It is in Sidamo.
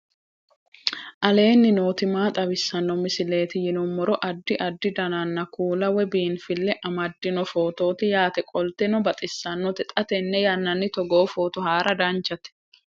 aleenni nooti maa xawisanno misileeti yinummoro addi addi dananna kuula woy biinfille amaddino footooti yaate qoltenno baxissannote xa tenne yannanni togoo footo haara danchate